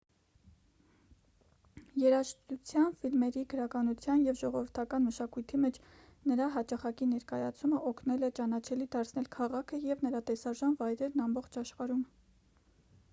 երաժշտության ֆիլմերի գրականության և ժողովրդական մշակույթի մեջ նրա հաճախակի ներկայացումը օգնել է ճանաչելի դարձնել քաղաքը և նրա տեսարժան վայրերն ամբողջ աշխարհում